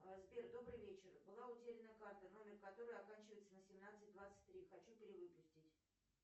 сбер добрый вечер была утеряна карта номер которой оканчивается на семнадцать двадцать три хочу перевыпустить